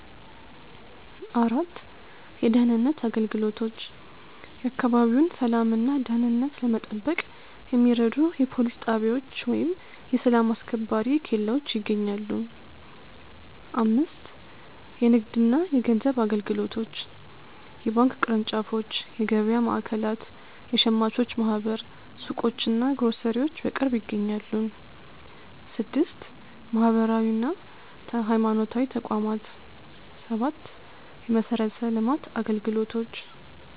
4. የደህንነት አገልግሎቶች፦ የአካባቢውን ሰላምና ደህንነት ለመጠበቅ የሚረዱ የፖሊስ ጣቢያዎች ወይም የሰላም አስከባሪ ኬላዎች ይገኛሉ። 5. የንግድና የገንዘብ አገልግሎቶች፦ የባንክ ቅርንጫፎች፣ የገበያ ማዕከላት፣ የሸማቾች ማኅበር ሱቆችና ግሮሰሪዎች በቅርብ ይገኛሉ። 6. ማህበራዊና ሃይማኖታዊ ተቋማት፦ 7. የመሠረተ ልማት አገልግሎቶች